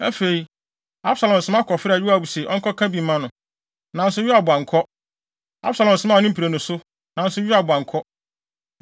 Afei, Absalom soma kɔfrɛɛ Yoab sɛ ɔnkɔka bi mma no, nanso Yoab ankɔ. Absalom somaa ne mprenu so, nanso Yoab ankɔ.